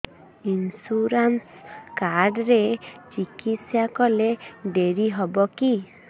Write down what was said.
insurance card ରେ ଚିକିତ୍ସା କଲେ ଡେରି ହବକି